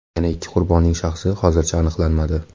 Yana ikki qurbonning shaxsi hozircha aniqlanmadi.